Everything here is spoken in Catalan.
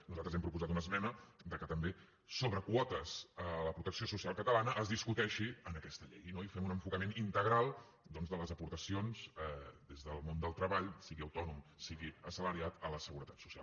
nosaltres hi hem proposat una esmena que també sobre quotes a la protecció social catalana es discuteixi en aquesta llei no i fem un enfocament integral doncs de les aportacions des del món del treball sigui autònom sigui assalariat a la seguretat social